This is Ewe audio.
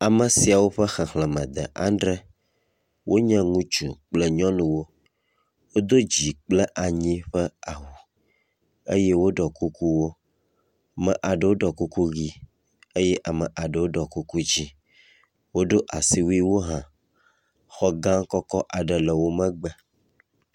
amesiawo ƒe xexlēme de adre wonye ŋutsu kple nyɔnuwo, wodó dzi kple anyi ƒe awu eye woɖɔ kukuwo me aɖewo ɖɔ kuku yi eye ame aɖewo ɖo kuku dzĩ woɖó asiwuiwo hã xɔ gã aɖe le wó megbe